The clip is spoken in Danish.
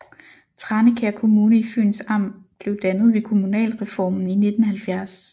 Tranekær Kommune i Fyns Amt blev dannet ved kommunalreformen i 1970